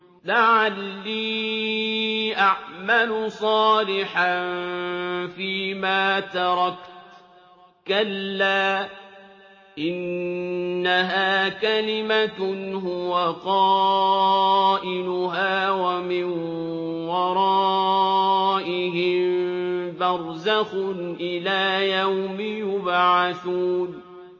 لَعَلِّي أَعْمَلُ صَالِحًا فِيمَا تَرَكْتُ ۚ كَلَّا ۚ إِنَّهَا كَلِمَةٌ هُوَ قَائِلُهَا ۖ وَمِن وَرَائِهِم بَرْزَخٌ إِلَىٰ يَوْمِ يُبْعَثُونَ